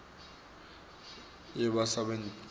yebasebenti